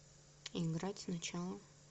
играть сначала